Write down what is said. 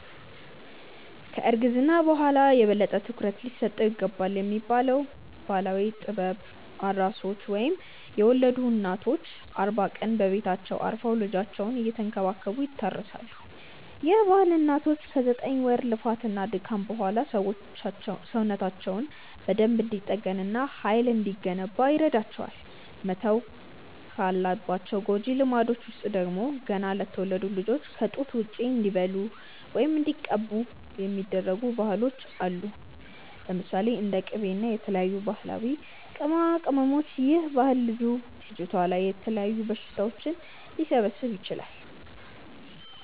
ከ እርግዝና በኋላ የበለጠ ትኩረት ሊሰጠው ይገባልብ የሚባለው ባህላዊ ጥበብ፤ ኣራሶች ወይም የወለዱ እናቶች አርባ ቀን በቤታቸው አርፈው ልጃቸውን እየተንከባከቡ ይታረሳሉ፤ ይህ ባህል እናቶች ከ ዘጠኝ ወር ልፋት እና ድካም በኋላ ሰውነታቸው በደንብ እንዲጠገን እና ሃይል እንዲገነባ ይረዳቸዋል። መተው ካለባቸው ጎጂ ልማዶች ውስጥ ደግሞ፤ ገና ለተወለዱት ልጆች ከ ጡት ውጪ እንዲበሉ ወይም እንዲቀቡ የሚደረጉ ባህሎች አሉ። ለምሳሌ፦ እንደ ቂቤ እና የተለያዩ ባህላዊ ቅመማቅመሞች ይህ ባህል ልጁ/ልጅቷ ላይ የተለያዩ በሽታዎች ሊሰበስብ ይችላል